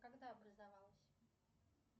когда образовалась